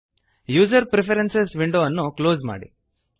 user preferences window ಅನ್ನು close ಮಾಡಿ